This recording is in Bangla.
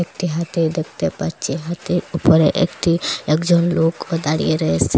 একটি হাতি দেখতে পাচ্ছি হাতির উপরে একটি একজন লোকও দাঁড়িয়ে রয়েসে।